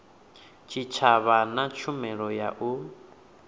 tshitshavha na tshumelo ya u